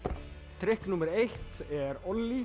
trikk númer eitt er